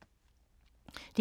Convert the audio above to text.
DR2